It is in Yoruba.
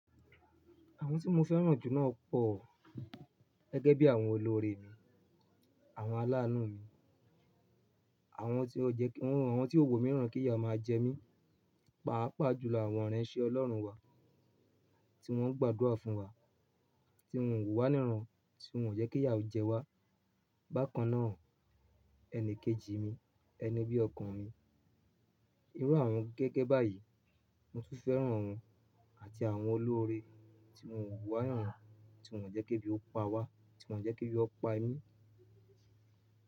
Àwọn tí mo fẹ́ràn jù náà pọ̀, gẹ́gẹ́ bí àwọn olóore mi, àwọn aláàánú mi, àwọn tí ó wo mí n'rán kí ìyà máa jẹ mí. Paapaa jùlọ àwọn ìránṣẹ́ Ọlọ́run wa tí wọ́n ń gbàdúrà fún wa, tí wọn o wo wá níràn, tí wọn o jẹ́ kí ìyà ó jẹ wá. Bákan náà, ẹni kejì mi, ẹni bí ọkan mi. Irú àwọn gẹ́gẹ́ báyìí mo tún fẹ́ràn wọn àti àwọn olóore tí wọn o wa wá níràn, tí wọn o jẹ́ kí bí ó pa wá, tí wọn o jẹ́ kí bí ó pa mí.